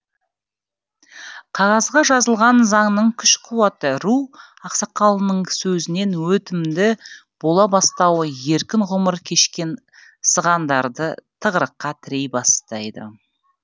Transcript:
қағазға жазылған заңның күш қуаты ру ақсақалының сөзінен өтімді бола бастауы еркін ғұмыр кешкен сығандарды тығырыққа тірей бастайды